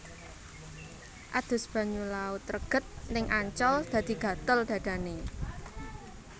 Adus banyu laut reget ning Ancol dadi gatel dhadhane